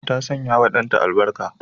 Ta sanyawa danta albarka.